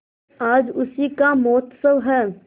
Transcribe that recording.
आज उसी का महोत्सव है